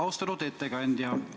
Austatud ettekandja!